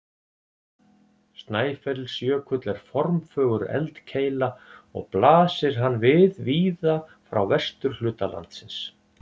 Snæfellsjökull er formfögur eldkeila og blasir hann við víða frá vesturhluta landsins.